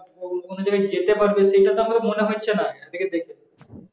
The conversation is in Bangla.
ও কোন জায়গায় যেতে পারবে সেটা তো আমাকে মনে হচ্ছে না ওদিকে দেখে